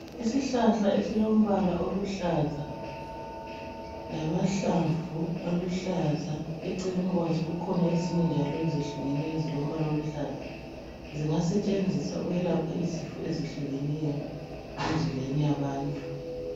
Isihlahla esilombala oluhlaza lamahlamvu aluhlaza. Eceleni kwazo kukhona njalo ezinye ezehlukeneyo ezilombala oluhlaza. Zingasetshenziswa ukwelapha izifo ezehlukeneyo emizimbeni yabantu.